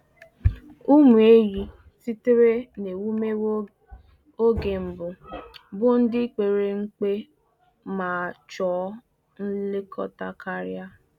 Ụmụ ehi sitere n’ewumewụ oge mbụ bụ ndị pere mpe ma chọọ nlekọta karia